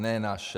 Ne naše.